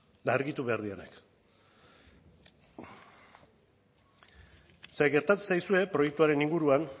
eta argitu behar direnak ze gertatzen zaizue proiektuaren inguruan